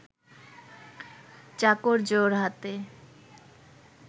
চাকর জোড়হাতে